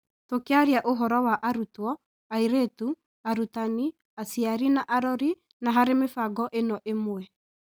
Tũkĩaria ũhoro wa arutwo, airĩtu, arutani, aciari na arori, na harĩ mĩbango ĩno ĩmwe.